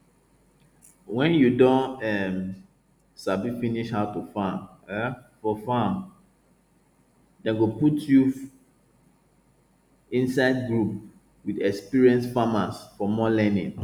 wen you don um sabi finish how to work um for farm dem go put you inside group with experienced farmers for more learning